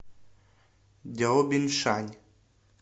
дяобиншань